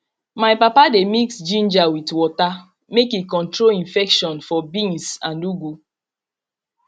my papa dey mix ginger with water make e control infection for beans and ugu